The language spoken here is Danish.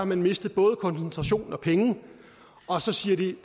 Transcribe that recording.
man mistet både koncentration og penge og så siger de